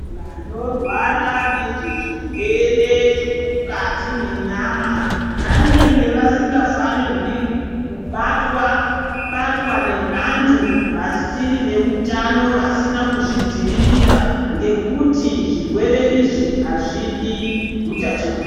Vanorwara nezvezvirwere zvemukati mwenyama vanenge vasingafanirwi kubatwa batwa nevantu vasiri veutano vasina kuzvidzivirira ngekuti zvirwerw izvi azvidi utachiwana.